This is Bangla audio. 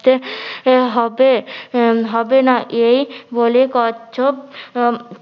হবে হবে না এই বলে কচ্ছপ উম